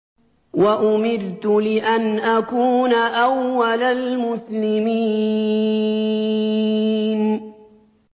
وَأُمِرْتُ لِأَنْ أَكُونَ أَوَّلَ الْمُسْلِمِينَ